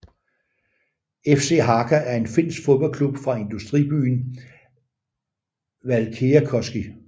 FC Haka er en finsk fodboldklub fra industribyen Valkeakoski